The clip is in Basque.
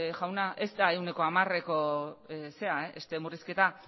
jauna ez da ehuneko hamareko murrizketa